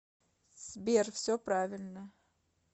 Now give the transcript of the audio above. сбер все правильно